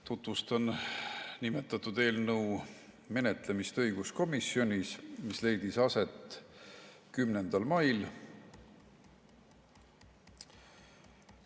Tutvustan nimetatud eelnõu menetlemist õiguskomisjonis, mis leidis aset 10. mail.